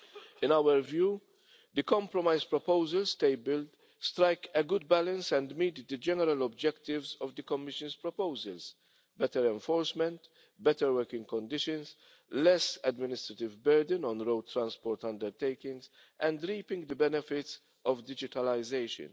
In our view, the compromise proposals tabled strike a good balance and meet the general objectives of the Commission's proposals better enforcement, better working conditions, less administrative burden on road transport undertakings, and reaping the benefits of digitalisation.